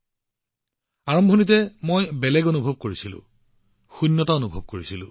প্ৰাৰম্ভিক দিনবোৰত কিবা এটা বেলেগ অনুভৱ হৈছিল এটা শূন্যতা আহি পৰিছিল